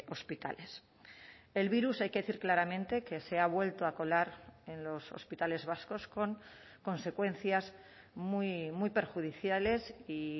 hospitales el virus hay que decir claramente que se ha vuelto a colar en los hospitales vascos con consecuencias muy muy perjudiciales y